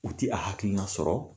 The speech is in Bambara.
U ti a hakilina sɔrɔ